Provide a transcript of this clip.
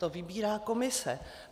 To vybírá komise.